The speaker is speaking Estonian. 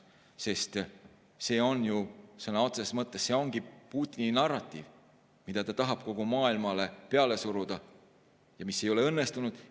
See ongi ju sõna otseses mõttes Putini narratiiv, mida ta tahab kogu maailmale peale suruda ja mis ei ole õnnestunud.